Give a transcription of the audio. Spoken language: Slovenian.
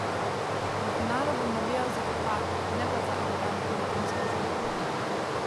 V finalu bom navijal za Hrvate, ne pa za arogantne Francoze.